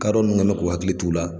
Kadɔ ninnu kɛn mɛ k'u hakili to u la.